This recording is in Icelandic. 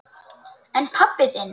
En hann pabbi þinn?